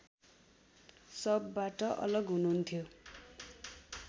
सबबाट अलग हुनुहुन्थ्यो